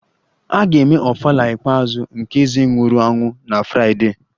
A ga-eme ofala ikpeazụ nke eze nwụrụ anwụ na Fraịdee